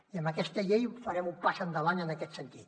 i amb aquesta llei farem un pas endavant en aquest sentit